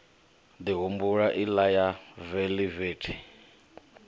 ḓi humbula iḽa ya veḽivethi